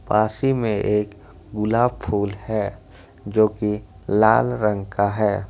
पासी में एक गुलाब फूल है जो की लाल रंग का है।